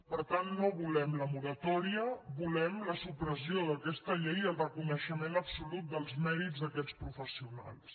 per tant no vo·lem la moratòria volem la supressió d’aquesta llei i el reconeixement absolut dels mèrits d’aquests professio·nals